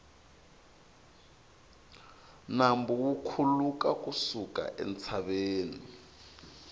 nambu wu khuluka ku suka entshaveni